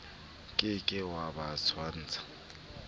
ke ke wa ba tshwantsha